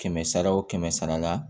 Kɛmɛ sara wo kɛmɛ sara la